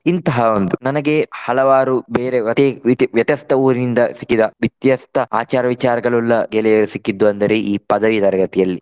ಇಂತಹ ಒಂದು ನನಗೆ ಹಲವಾರು ಬೇರೆ ವ್ಯ~ ವ್ಯತ್ಯಸ್ತ ಊರಿಂದ ಸಿಕ್ಕಿದ ವ್ಯತ್ಯಸ್ತ ಆಚಾರ ವಿಚಾರಗಳ್ಳುಲ್ಲ ಗೆಳೆಯರು ಸಿಕ್ಕಿದ್ದು ಅಂದರೆ ಈ ಪದವಿ ತರಗತಿಯಲ್ಲಿ.